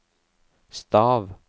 stav